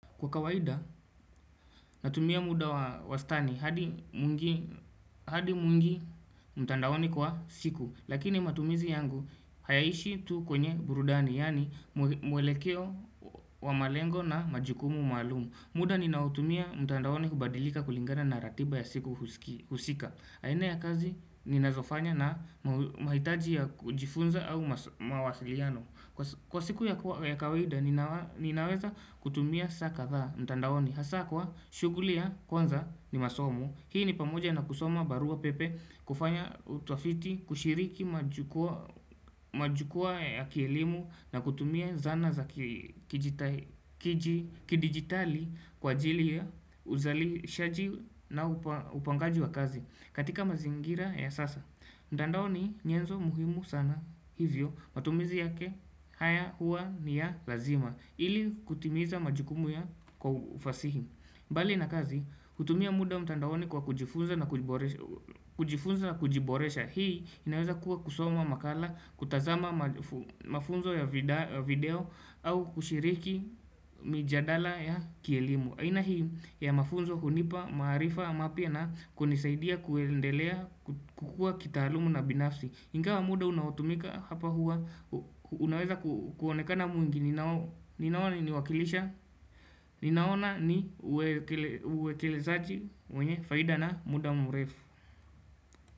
Kwa kawaida natumia muda wastani hadi mwingi mtandaoni kwa siku Lakini matumizi yangu hayaishi tu kwenye burudani yaani mwelekeo wa malengo na majukumu maalumu muda ninaotumia mtandaoni hubadilika kulingana na ratiba ya siku husika aina ya kazi ninazofanya na mahitaji ya kujifunza au mawasiliano Kwa siku ya kawaida ninaweza kutumia saa kadhaa mtandaoni Hasa kwa shughuli ya kwanza ni masomo Hii ni pamoja na kusoma barua pepe kufanya utafiti kushiriki majukwaa ya kielimu na kutumia zana za kidigitali kwa ajili ya uzalishaji na upangaji wa kazi katika mazingira ya sasa mtandao ni nyenzo muhimu sana hivyo matumizi yake, haya hua ni ya lazima ili kutimiza majukumu ya kwa ufasihi mbali na kazi, hutumia muda mtandaoni kwa kujifunza na kujiboresha Hii inaweza kuwa kusoma makala, kutazama mafunzo ya video au kushiriki mijadala ya kielimu aina hii ya mafunzo hunipa, maarifa, mapya na kunisaidia kuendelea kukua kitaalumu na binafsi ingawa muda unaotumika hapa huwa Unaweza kuonekana mwingi Ninaona ni wakilisha Ninaona ni uwekelezaji mwenye faida na muda mrefu.